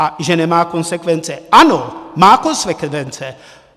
A že nemá konsekvence - ano, má konsekvence.